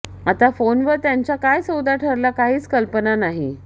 आता फोनवर त्यांचा काय सौदा ठरला काहीच कल्पना नाही